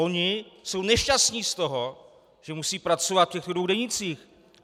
Oni jsou nešťastní z toho, že musí pracovat v těchto dvou denících.